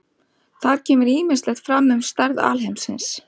Þar kemur ýmislegt fram um stærð alheimsins.